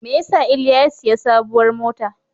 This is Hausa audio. Me ya sa Iliya ya sayi sabuwar mota?